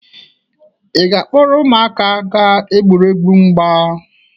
Ị ga-akpọrọ ụmụaka gaa egwuregwu mgba?